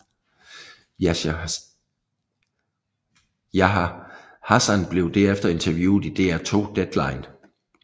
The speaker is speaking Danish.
Yahya Hassan blev derefter interviewet i DR2 Deadline